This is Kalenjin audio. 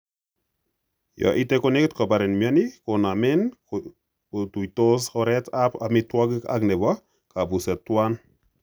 Yon ite konegit koparin mioni konmaen kotuitos oret ap amitwogik ak nepo kapuset twan.